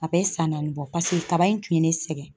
A bɛ san naani bɔ paseke kaba in tun ye ne sɛgɛn.